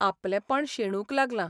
आपलेपण शेणूंक लागलां.